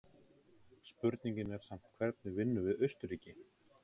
Spurningin er samt hvernig vinnum við Austurríki?